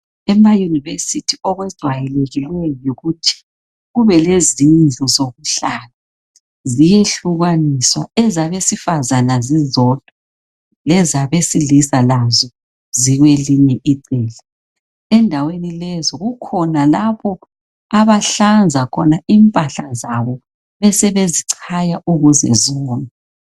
Ema yunivesithi okwejayelekileyo yikuthi kube lezindlu zokuhlala ziyehlukaniswa ezabesifazana zizodwa lezabesilisa lazo zikwelinye icele endaweni lezo kukhona lapho abahlanza khona impahla zabo besebezichaya ukuze ziwome